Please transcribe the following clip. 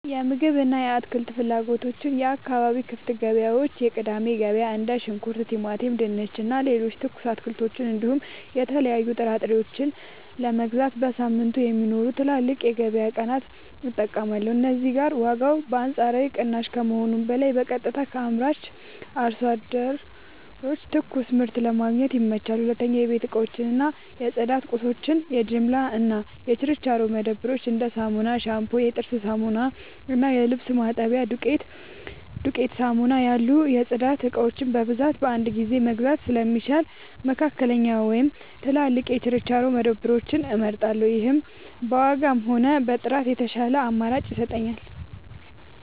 የምግብ እና የአትክልት ፍላጎቶች የአካባቢ ክፍት ገበያዎች (የቅዳሜ ገበያ): እንደ ሽንኩርት፣ ቲማቲም፣ ድንች እና ሌሎች ትኩስ አትክልቶችን እንዲሁም የተለያዩ ጥራጥሬዎችን ለመግዛት በየሳምንቱ የሚኖሩትን ትላልቅ የገበያ ቀናት እጠቀማለሁ። እዚህ ጋር ዋጋው በአንጻራዊነት ቅናሽ ከመሆኑም በላይ በቀጥታ ከአምራች አርሶ አደሮች ትኩስ ምርት ለማግኘት ይመቻቻል። 2. የቤት እቃዎች እና የጽዳት ቁሳቁሶች የጅምላ እና የችርቻሮ መደብሮች: እንደ ሳሙና፣ ሻምፑ፣ የጥርስ ሳሙና እና የልብስ ማጠቢያ ዱቄት (ዱቄት ሳሙና) ያሉ የጽዳት እቃዎችን በብዛት በአንድ ጊዜ መግዛት ስለሚሻል፣ መካከለኛ ወይም ትላልቅ የችርቻሮ መደብሮችን እመርጣለሁ። ይህም በዋጋም ሆነ በጥራት የተሻለ አማራጭ ይሰጠኛል።